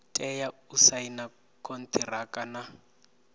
tea u saina konṱiraka na